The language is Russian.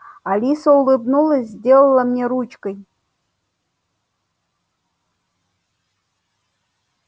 алиса улыбнулась сделала мне ручкой